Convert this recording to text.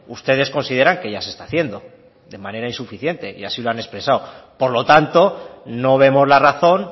ustedes consideran que ya se está haciendo de manera insuficiente y así lo han expresado por lo tanto no vemos la razón